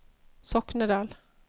Soknedal